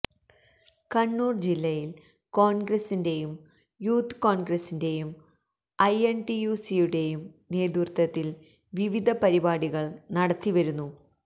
കണ്ണൂര് ജില്ലയില് കോണ്ഗ്രസിന്റെയും യൂത്ത് കോണ്ഗ്രസിന്റെയും ഐ എന് ടി യു സിയുടെയും നേതൃത്വത്തില് വിവിധ പരിപാടികള് നടത്തിവരുന്നു